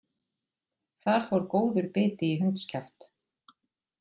Þar fór góður biti í hundskjaft